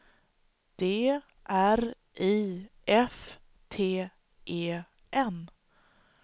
D R I F T E N